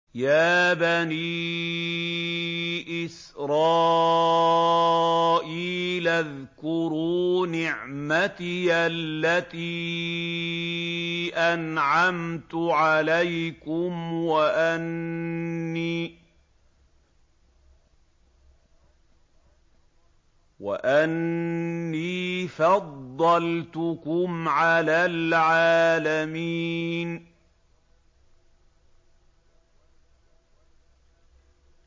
يَا بَنِي إِسْرَائِيلَ اذْكُرُوا نِعْمَتِيَ الَّتِي أَنْعَمْتُ عَلَيْكُمْ وَأَنِّي فَضَّلْتُكُمْ عَلَى الْعَالَمِينَ